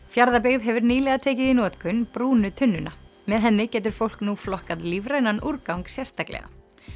Fjarðabyggð hefur nýlega tekið í notkun brúnu tunnuna með henni getur fólk nú flokkað lífrænan úrgang sérstaklega